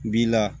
B'i la